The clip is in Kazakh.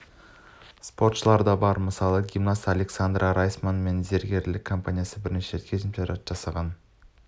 спортшылар да бар мысалы гимнаст александра райсман және пен зергерлік компаниясымен бірден бірнеше келісімшарт жасаған